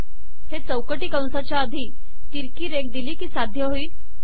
हे चौकटी कंसाच्या आधी तिरकी रेघ दिली की साध्य होईल